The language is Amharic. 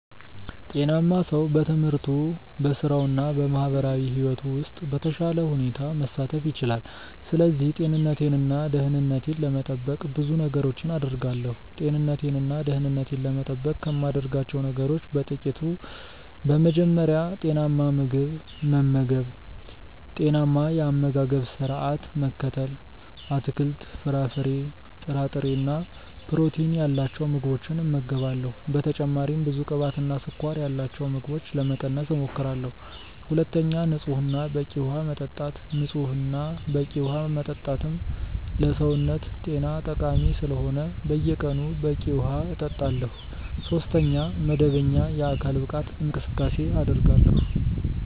ጤናማ ሰው በትምህርቱ፣ በሥራው እና በማህበራዊ ሕይወቱ ውስጥ በተሻለ ሁኔታ መሳተፍ ይችላል። ስለዚህ ጤንነቴን እና ደህንነቴን ለመጠበቅ ብዙ ነገሮችን አደርጋለሁ። ጤንነቴን እና ደህንነቴን ለመጠበቅ ከማደርጋቸው ነገሮች በ ጥቅቱ፦ በመጀመሪያ, ጤናማ ምግብ መመገብ(ጤናማ የ አመጋገባ ስረዓት መከተል ):- አትክልት፣ ፍራፍሬ፣ ጥራጥሬ እና ፕሮቲን ያላቸው ምግቦችን እመገባለሁ። በተጨማሪም ብዙ ቅባትና ስኳር ያላቸውን ምግቦች ለመቀነስ እሞክራለሁ። ሁለተኛ, ንጹህ እና በቂ ውሃ መጠጣት። ንጹህ እና በቂ ዉሃ መጠጣትም ለሰውነት ጤና ጠቃሚ ስለሆነ በየቀኑ በቂ ውሃ እጠጣለሁ። ሶስተኛ, መደበኛ የአካል ብቃት እንቅስቃሴ አደርጋለሁ።